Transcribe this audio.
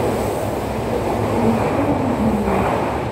алишера евгеньевича